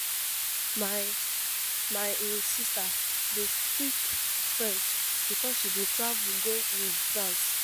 My My um sista dey speak French because she bin travel go um France.